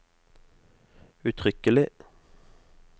uttrykkelig